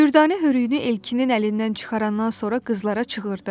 Dürdanə hörüyünü Elkinin əlindən çıxarandan sonra qızlara çığırdı: